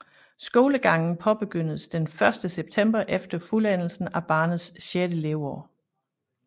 Skolegangen påbegyndes den første september efter fuldendelsen af barnets sjette leveår